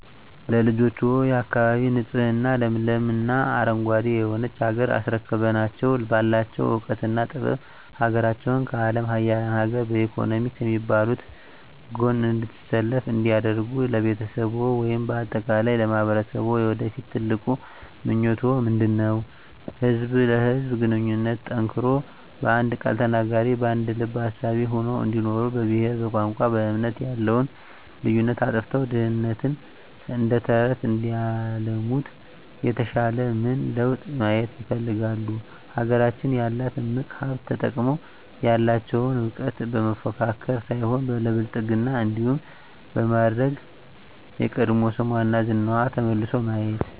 ለልጆችዎ፣ የአካባቢ ንፁህ ለምለም እና አረንጓዴ የሆነች ሀገር አስረክበናቸው ባላቸው እውቀትና ጥበብ ሀገራቸውን ከአለም ሀያላን ሀገር በኢኮኖሚ ከሚባሉት ጎን እንድትሰለፍ እንዲያደርጉ ለቤተሰብዎ ወይም በአጠቃላይ ለማህበረሰብዎ የወደፊት ትልቁ ምኞቶ ምንድነው? ህዝብ ለህዝብ ግንኙነቱ ጠንክሮ በአንድ ቃል ተናጋሪ በአንድ ልብ አሳቢ ሆነው እንዲኖሩ በብሄር በቋንቋ በእምነት ያለውን ልዩነት አጥፍተው ድህነትን እደተረተረት እንዲያለሙት የተሻለ ምን ለውጥ ማየት ይፈልጋሉ? ሀገራችን ያላትን እምቅ ሀብት ተጠቅመው ያለቸውን እውቀት ለመፎካከር ሳይሆን ለብልፅግና እንዲሆን በማድረግ የቀድሞ ስሟና ዝናዋ ተመልሶ ማየት